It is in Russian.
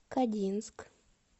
кодинск